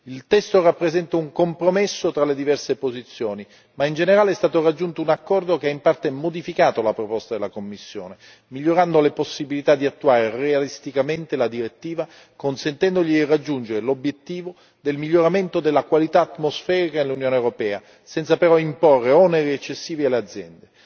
Il testo rappresenta un compromesso tra le diverse posizioni, ma in generale è stato raggiunto un accordo che ha in parte modificato la proposta della Commissione, migliorando le possibilità di attuare realisticamente la direttiva, consentendole di raggiungere l'obiettivo del miglioramento della qualità atmosferica nell'Unione europea, senza però imporre oneri eccessivi alle aziende.